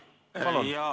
Palun!